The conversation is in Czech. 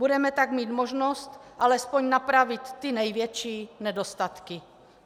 Budeme tak mít možnost alespoň napravit ty největší nedostatky.